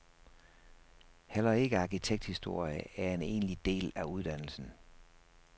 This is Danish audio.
Heller ikke arkitekturhistorie er en egentlig del af uddannelsen.